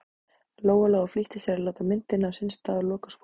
Lóa-Lóa flýtti sér að láta myndina á sinn stað og loka skúffunni.